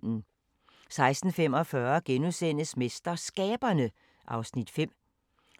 16:45: MesterSkaberne (Afs. 5)*